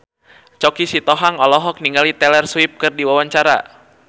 Choky Sitohang olohok ningali Taylor Swift keur diwawancara